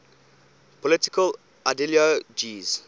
political ideologies